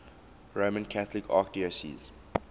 roman catholic archdiocese